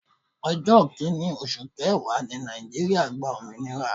Ọjọ́ kini oṣù kẹwàá ni Nàìjíríà gba òmìnira.